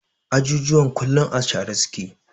Ajujuwan kullum a share su ke.